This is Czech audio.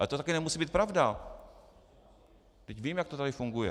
Ale to taky nemusí být pravda, vždyť víme, jak to tady funguje.